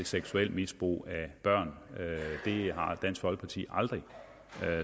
seksuelt misbrug af børn det har dansk folkeparti aldrig